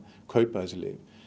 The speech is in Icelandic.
kaupa þessi lyf